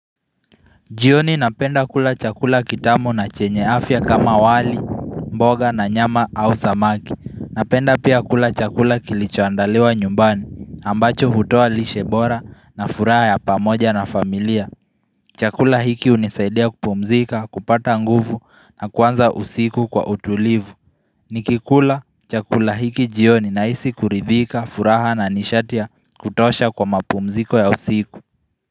Jioni napenda kula chakula kitamu na chenye afya kama wali, mboga na nyama au samaki Napenda pia kula chakula kilichoandaliwa nyumbani, ambacho hutoa lishe bora na furaha ya pamoja na familia Chakula hiki hunisaidia kupumzika, kupata nguvu na kuanza usiku kwa utulivu Nikikula chakula hiki jioni nahisi kuridhika, furaha na nishati ya kutosha kwa mapumziko ya usiku.